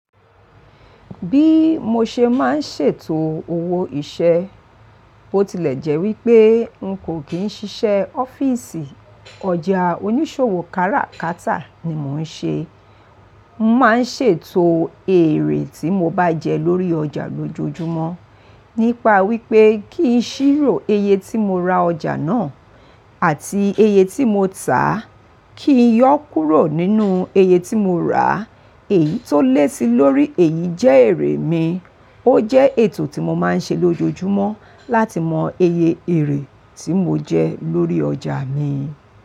Bí mo ṣe máa ń ṣètò owó ìṣe, ó tilẹ̀ jẹ́ wípé n kò kí ń ṣiṣẹ́ ọ́fíìsì, ọjà oníṣòwò káràkátà ni mò ń ṣe. Mo máa ń ṣètò èrè tí mo bá jẹ lórí ọjà lójoojúmọ́ nípa wípé kí ń ṣírò iye tí mo ra ọjà náà àti iye tí mo tà, kí ń yọ́ kúrò nínú iye tí mo rà. Èyí tó lé sí lórí èyí jẹ́ èrè mi. Ó jẹ́ ètò tí mo máa ń ṣe lójoojúmọ́ láti mọ e ye èrè tí mo jẹ lórí ọjà mi.